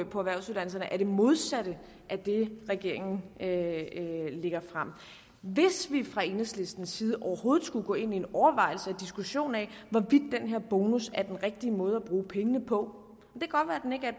på erhvervsuddannelserne er det modsatte af det regeringen lægger frem hvis vi fra enhedslistens side overhovedet skulle gå ind i en overvejelse og diskussion af hvorvidt den her bonus er den rigtige måde at bruge pengene på